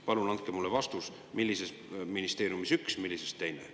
Palun andke mulle vastus, millises ministeeriumis üks, millises teine.